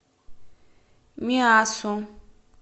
миассу